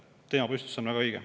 Teemapüstitus on väga õige.